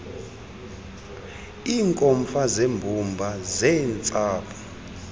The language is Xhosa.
iinkomfa zeembumba zeentsapho